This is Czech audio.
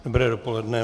Dobré dopoledne.